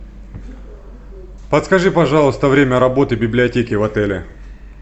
подскажи пожалуйста время работы библиотеки в отеле